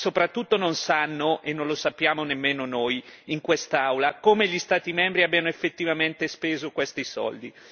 Ma, soprattutto, non sanno e non lo sappiamo nemmeno noi in quest'Aula come gli Stati membri abbiano effettivamente speso questi soldi.